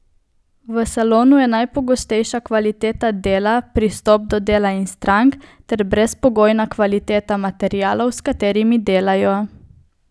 V salonu je najpomembnejša kvaliteta dela, pristop do dela in strank ter brezpogojna kvaliteta materialov, s katerimi delajo.